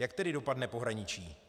Jak tedy dopadne pohraničí?